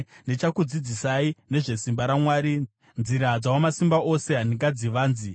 “Ndichakudzidzisai nezvesimba raMwari; nzira dzaWamasimba Ose handingadzivanzi.